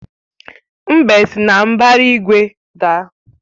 Mbe si na mbara igwe daa.